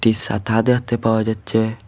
একটি সাতা দেখতে পাওয়া যাচ্ছে।